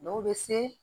Dɔw bɛ se